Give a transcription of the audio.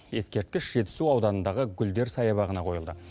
ескерткіш жетісу ауданындағы гүлдер саябағына қойылды